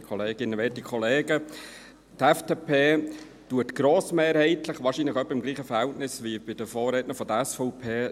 Die FDP lehnt diese Vorlage grossmehrheitlich ab, wahrscheinlich in etwa mit dem gleichen Verhältnis wie gemäss dem Vorredner die SVP.